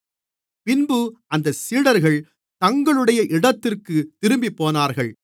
பின்பு அந்தச் சீடர்கள் தங்களுடைய இடத்திற்குத் திரும்பிப்போனார்கள்